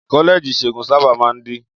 Kọ́lẹ́ẹ̀jì ìṣègùn sábà máa ń dí.